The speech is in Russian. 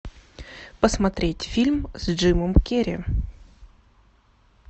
посмотреть фильм с джимом керри